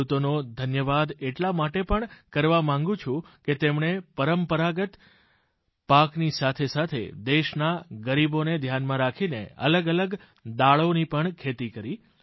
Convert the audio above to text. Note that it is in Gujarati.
ખેડૂતોનો ધન્યવાદ એટલા માટે પણ કરવા માગું છું કે તેમણે પરંપરાગત પાકની સાથે સાથે દેશના ગરીબોને ધ્યાનમાં રાખીને અલગઅલગ દાળોની પણ ખેતી કરે